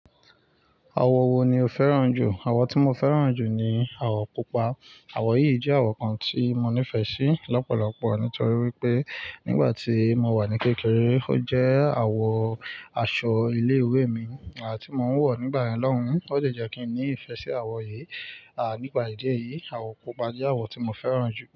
Àwo wo ni obferan jù? Àwo tí mo fẹ́ràn jù ni àwo pupa. Àwo yìí jẹ́ àwo kan tí mo nífẹ̀ẹ́ sí lọ́pọ̀lọpọ̀ nítorí wípé nígbà tí mo wà ní kékeré ó jẹ́ àwo aṣọ ilé-ìwé mi à ti mo ń wọ̀ nígbà yen lohun ó d jẹ́ kí n ní ìfẹ́ sí àwo yìí. À nípa ìdí èyí, àwo pupa jẹ́ àwo tí mo fẹ́ràn jù.